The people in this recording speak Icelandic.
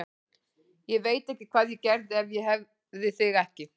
Ég veit ekki hvað ég gerði ef ég hefði þig ekki.